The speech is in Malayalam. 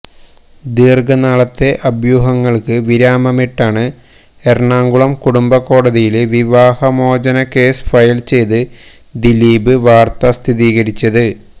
ദീര്ഘനാളത്തെ അഭ്യൂഹങ്ങള്ക്ക് വിരാമമിട്ടാണ് എറണാകുളം കുടുംബ കോടതിയില് വിവാഹമോചന കേസ് ഫയല് ചെയ്ത് ദിലീപ് വാര്ത്ത സ്ഥിരീകരിച്ചത്